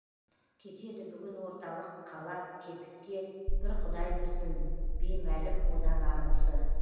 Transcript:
кетеді бүгін орталық қала кетікке бір құдай білсін беймәлім одан арғысы